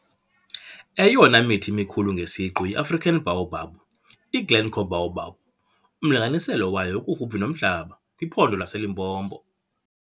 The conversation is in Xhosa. Eyona mithi mikhulu ngesiqu yiAfrican Baobab - iGlencoe Baobab, umlinganiselo wayo ukufuphi nomhlaba, kwiPhondo laseLimpopo.